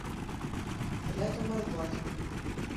рядом арбат